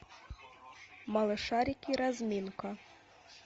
малышарики разминка